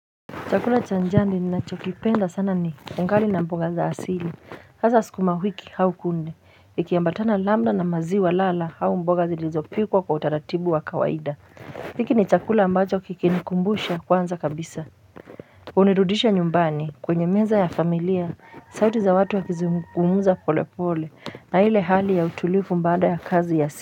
Chakula cha jandi na chokipenda sana ni mkari na mboga za asili, hasa sikumawiki hau kunde, ikiyambatana lambda na maziwa lala hau mboga zilizopikwa kwa utaratibu wa kawaida. Hiki ni chakula ambacho kikinikumbusha kwanza kabisa. Unirudisha nyumbani kwenye meza ya familia, sauti za watu ya kizungumuza pole pole, na hile hali ya utulifu mbada ya kazi ya asili.